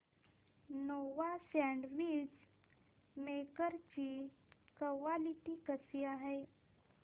Nova sandwich maker ची quality कशी आहे